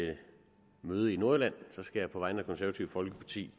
møde i nordjylland skal jeg på vegne af det konservative folkeparti